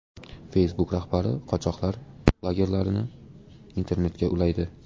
Facebook rahbari qochoqlar lagerlarini internetga ulaydi.